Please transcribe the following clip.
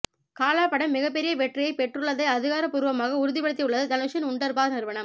காலா படம் மிகப் பெரிய வெற்றியைப் பெற்றுள்ளதை அதிகாரப்பூர்வமாக உறுதிப்படுத்தியுள்ளது தனுஷின் வுண்டர்பார் நிறுவனம்